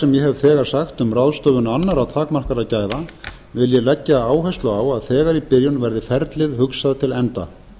hef þegar sagt um ráðstöfun annarra takmarkaðra gæða vil ég leggja áherslu á að þegar í byrjun verði ferlið hugsað til enda